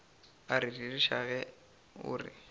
a rereša ge o re